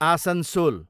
Asansol